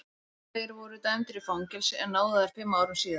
Þeir voru dæmdir í fangelsi en náðaðir fimm árum síðar.